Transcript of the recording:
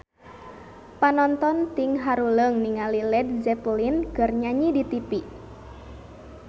Panonton ting haruleng ningali Led Zeppelin keur nyanyi di tipi